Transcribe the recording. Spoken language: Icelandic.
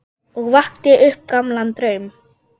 Og vakti upp gamlan draum.